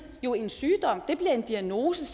jo en sygdom det bliver en diagnose